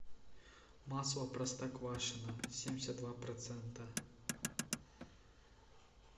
масло простоквашино семьдесят два процента